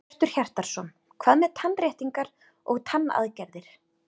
Hjörtur Hjartarson: Hvað með tannréttingar og tannaðgerðir?